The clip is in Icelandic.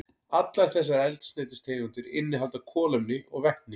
Allar þessar eldsneytistegundir innihalda kolefni og vetni.